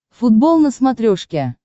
футбол на смотрешке